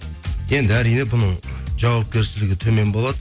енді әрине бұның жауапкершілігі төмен болады